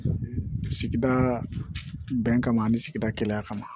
Sigida bɛn kama ani sigida kɛnɛya kama